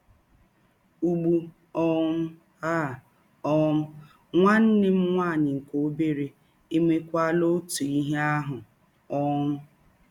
Ụgbụ um a um, nwanne m nwaanyị nke ọbere emewakwala ọtụ ihe ahụ. um